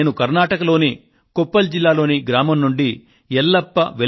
నేను కర్ణాటకలోని కొప్పాళ్ జిల్లాలోని ఒక పల్లెటూరు నుండి ఫోన్ చేస్తున్నాను